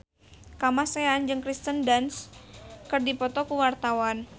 Kamasean jeung Kirsten Dunst keur dipoto ku wartawan